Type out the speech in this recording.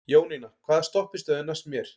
Jónína, hvaða stoppistöð er næst mér?